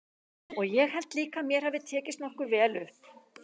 Og ég held líka að mér hafi tekist nokkuð vel upp.